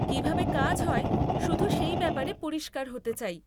কীভাবে কাজ হয়, শুধু সেই ব্যাপারে পরিষ্কার হতে চাই।